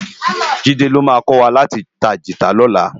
Jide ló má kòwá láti tá gitá lòlá